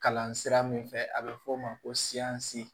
Kalan sira min fɛ a bɛ fɔ o ma ko cisi